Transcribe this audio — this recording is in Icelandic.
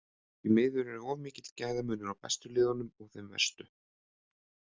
Því miður er of mikill gæðamunur á bestu liðunum og þeim verstu